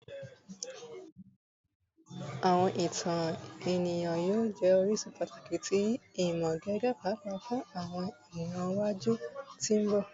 Awọn itan eniyan yoo jẹ orisun pataki ti imọ gige paapaa fun awọn iran iwaju ti mbọ